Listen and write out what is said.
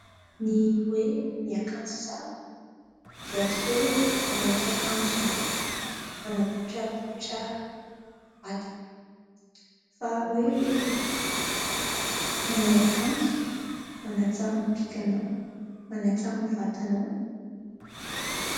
Ny hoe miakanjo tsara dia tsy hoe manao fiakajo mana poitrapoitra vatana fa hoe manao akanjo manatsara ny bikanao, manantsara ny vatanao.